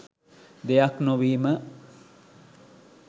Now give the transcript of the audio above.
දෙයක් නොවීම.